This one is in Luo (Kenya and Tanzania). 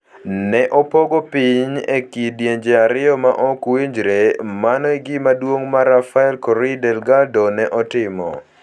Ne opogo piny e kidienje ariyo ma ok winjre: Mano e gima duong' ma Rafael Correa Delgado ne otimo.